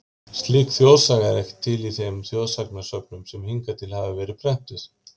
Slík þjóðsaga er ekki til í þeim þjóðsagnasöfnum sen hingað til hafa verið prentuð.